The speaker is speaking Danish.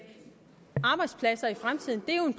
arbejdspladser i fremtiden er jo